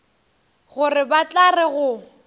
gore ba tla re go